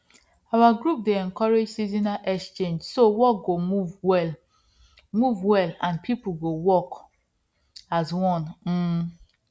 our group dey encourage seasonal exchange so work go move well move well and people go work as one um